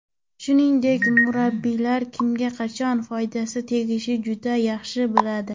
Shuningdek, murabbiylar kimning qachon foydasi tegishini juda yaxshi bilishadi.